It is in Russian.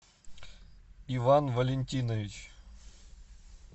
иван валентинович